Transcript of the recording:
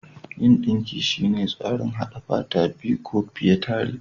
Yin dinki shine tsarin haɗa fata guda biyu ko fiye tare.